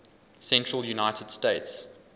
central united states